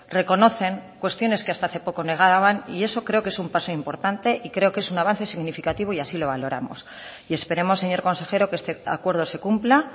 reconocen cuestiones que hasta hace poco negaban y eso creo que es un paso importante y creo que es un avance significativo y así lo valoramos y esperemos señor consejero que este acuerdo se cumpla